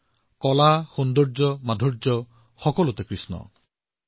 কলা হওঁক সৌন্দৰ্য হওঁক সুৰ হওঁক সকলোতে কৃষ্ণ আছে